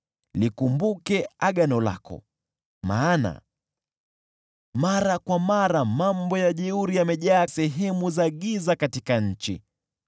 Likumbuke agano lako, maana mara kwa mara mambo ya jeuri yamejaa katika sehemu za giza nchini.